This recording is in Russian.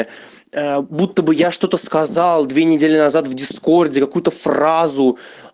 будто бы я что-то сказал две недели назад в дискорде какую-то фразу